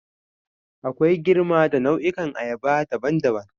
Akwai girma da nau'ikan ayaba daban-daban.